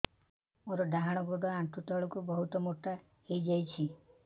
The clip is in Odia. ମୋର ଡାହାଣ ଗୋଡ଼ ଆଣ୍ଠୁ ତଳକୁ ବହୁତ ମୋଟା ହେଇଯାଉଛି